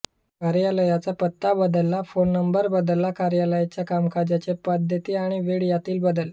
कार्यालयाचा पत्ता बदलला फ़ोन नंबर बदलला कार्यालयाच्या कामकाजाच्या पद्धती आणि वेळा यातील बदल